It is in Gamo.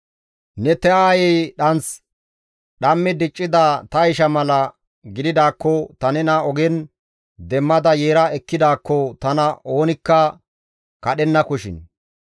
Ne ta aayey dhanth dhammi diccida ta isha mala gididaakko ta nena ogen demmada yeera ekkidaakko tana oonikka kadhennakoshin!